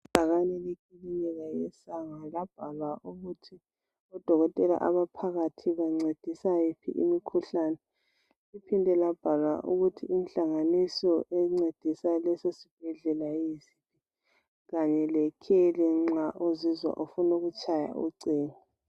Ibhakane leclinic yeSangwa, labahala ukuthi odokotela abaphakathi bancedisa iphi imikhuhlane. Liphinde labhalwa ukuthi inhlanganiso encedisa leso sibhedlela yiphi, kanye lekheli nxa uzizwa ufuna ukutshaya ucingo.